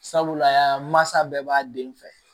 Sabula masa bɛɛ b'a den fɛ